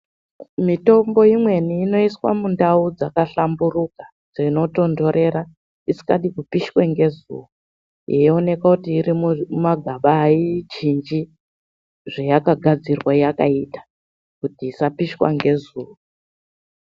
Mitombo imweni inoiswa mindau dzakahlamburuka dzino tonhorera isinga pishwi ngezuva yeioneka kuti iri mumagaba hayichinji zvayakagadzirwa yakaita kuti isapishwa nezuva.